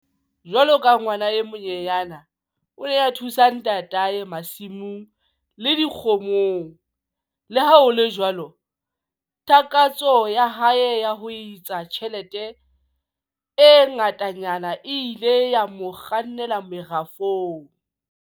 Jwalo ka ngwana e monyenyane, o ne a thusa ntatae masimong le dikgomong. Le ha ho le jwalo takatso ya hae ya ho etsa tjhelete e ngatanyana e ile ya mo kgannela merafong.